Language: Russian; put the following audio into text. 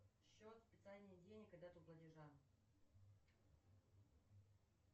счет списания денег и дату платежа